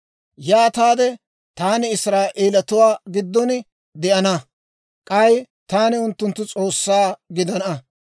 Yaataade taani Israa'eeletuwaa giddon de'ana; k'ay taani unttunttu S'oossaa gidana.